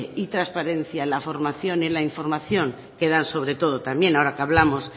y transparencia en la formación y la información que dan sobre todos también ahora que hablamos